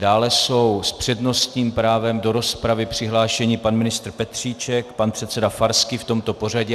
Dále jsou s přednostním právem do rozpravy přihlášeni pan ministr Petříček, pan předseda Farský, v tomto pořadí.